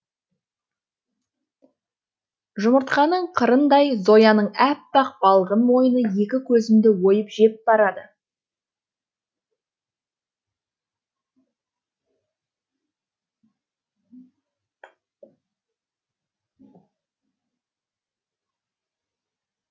жұмыртқаның қырындай зояның аппақ балғын мойны екі көзімді ойып жеп барады